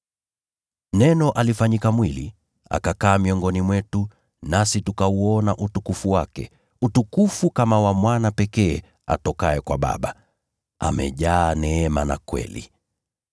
Neno alifanyika mwili, akakaa miongoni mwetu, nasi tukauona utukufu wake, utukufu kama wa Mwana pekee atokaye kwa Baba, amejaa neema na kweli.